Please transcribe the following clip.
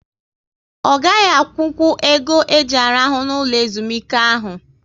Ọ gaghị akwụnkwụ ego e ji arahu n'ụlọ ezumike ahụ